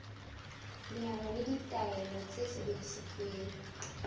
leano le ditaelo tse sebediswang